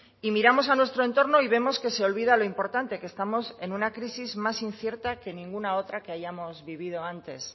y miramos a nuestro entorno y vemos que se olvida lo importante que estamos en una crisis más incierta que ninguna otra que hayamos vivido antes